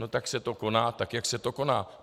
No tak se to koná, tak jak se to koná.